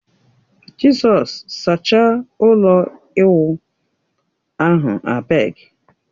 Jizọs! Sachaa ụlọ ịwụ ahụ abegi.